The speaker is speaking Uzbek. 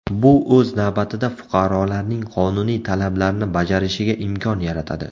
Bu o‘z navbatida fuqarolarning qonuniy talablarni bajarishiga imkon yaratadi.